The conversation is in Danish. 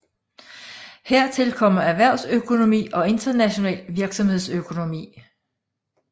Hertil kommer erhvervsøkonomi og international virksomhedsøkonomi